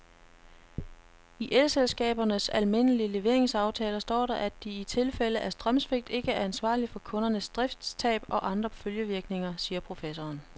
I elselskabernes almindelige leveringsaftaler står der, at de i tilfælde af strømsvigt ikke er ansvarlig for kundernes driftstab og andre følgevirkninger, siger professoren.